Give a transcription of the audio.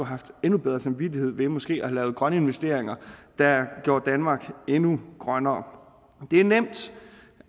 haft endnu bedre samvittighed ved måske at have lavet grønne investeringer der gjorde danmark endnu grønnere det er nemt